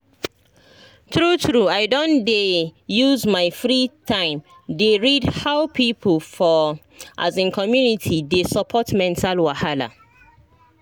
true true i don dey use my free time dey read how people for um community dey support mental wahala.